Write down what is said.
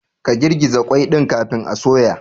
Ka girgiza qwai ɗin kafin a soya.